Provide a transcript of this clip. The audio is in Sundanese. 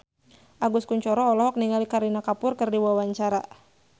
Agus Kuncoro olohok ningali Kareena Kapoor keur diwawancara